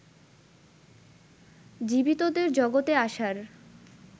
জীবিতদের জগতে আসার